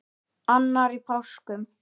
Annar í páskum.